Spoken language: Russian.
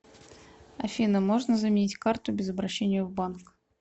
афина можно заменить карту без обращения в банк